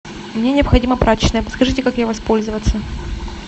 мне необходима прачечная подскажите как ей воспользоваться